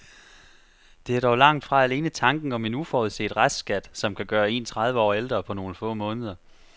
Det er dog langt fra alene tanken om en uforudset restskat, som kan gøre en tredive år ældre på nogle få måneder.